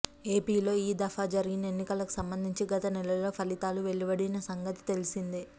ఏపీలో ఈ దఫా జరిగిన ఎన్నికలకు సంబంధించి గత నెలలో ఫలితాలు వెలువడిన సంగతి తెలిసిందే